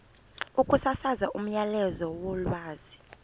ukusasaza umyalezo wolwazi